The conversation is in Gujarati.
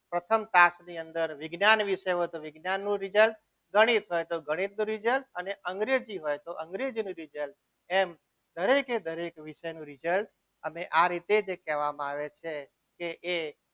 પ્રથમ તાસ વિશે વિજ્ઞાન વિશે વિજ્ઞાનનું result ગણિત હોય તો ગણિતનું result અને અંગ્રેજી હોય તો અંગ્રેજીનું result એમ દરેકે દરેક વિષયનું result અને આ રીતે જે કહેવામાં આવે છે કે એ